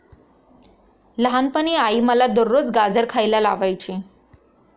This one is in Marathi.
लहानपणी आई मला दररोज गाजर खायला लावायची.